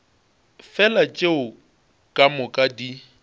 fela tšeo ka moka di